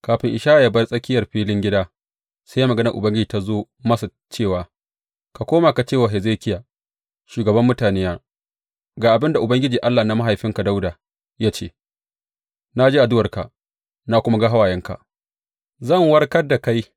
Kafin Ishaya yă bar tsakiyar filin gida, sai maganar Ubangiji ta zo masa cewa, Ka koma ka ce wa Hezekiya, shugaban mutanena, Ga abin da Ubangiji Allah na mahaifinka Dawuda ya ce, na ji addu’arka na kuma ga hawayenka; zan warkar da kai.